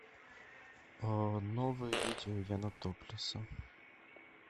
новые видео яна топлеса